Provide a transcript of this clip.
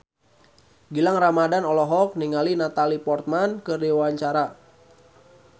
Gilang Ramadan olohok ningali Natalie Portman keur diwawancara